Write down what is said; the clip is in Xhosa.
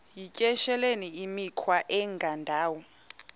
yityesheleni imikhwa engendawo